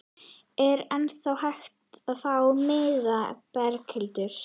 Er ennþá hægt að fá miða, Berghildur?